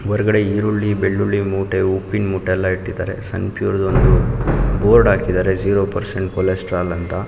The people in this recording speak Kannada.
ಹೊರಗಡೆ ಈರುಳ್ಳಿ ಬೆಳ್ಳುಳಿ ಮೂಟೆ ಉಪ್ಪಿನ ಮೂಟೆ ಎಲ್ಲಾ ಇಟ್ಟಿದ್ದಾರೆ. ಸನ್ ಪ್ಯೂರ್ ದ್ ಒಂದು ಬೋರ್ಡ್ ಹಾಕಿದ್ದಾರೆ ಜೀರೋ ಪರ್ಸೆಂಟ್ ಕೊಲೆಸ್ಟ್ರಾಲ್ ಅಂತ.